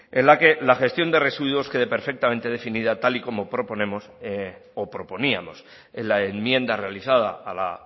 en la que la gestión de residuos quede perfectamente definida tal y como proponemos o proponíamos en la enmienda realizada a la